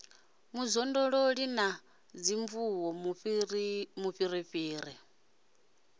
mu zwondolola no sinvuwa mufhirifhiri